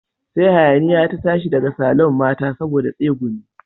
Sai hayaniya ta tashi daga saloon mata saboda tsegumi